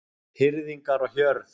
Hirðingjar og hjörð